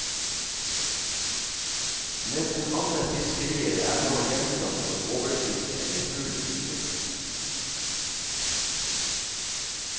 Nesten alle fiskerier er nå gjenstand for overfiske eller full utnyttelse.